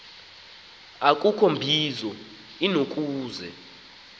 akukho mbizo inokuze